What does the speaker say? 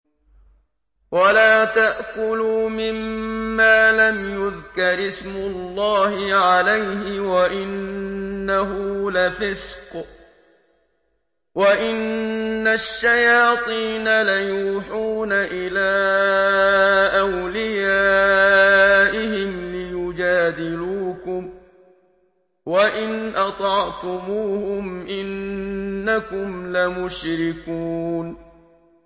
وَلَا تَأْكُلُوا مِمَّا لَمْ يُذْكَرِ اسْمُ اللَّهِ عَلَيْهِ وَإِنَّهُ لَفِسْقٌ ۗ وَإِنَّ الشَّيَاطِينَ لَيُوحُونَ إِلَىٰ أَوْلِيَائِهِمْ لِيُجَادِلُوكُمْ ۖ وَإِنْ أَطَعْتُمُوهُمْ إِنَّكُمْ لَمُشْرِكُونَ